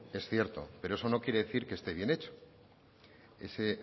es cierto pero eso no quiere decir que esté bien hecho ese